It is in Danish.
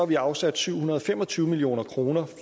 vi afsat syv hundrede og fem og tyve million kroner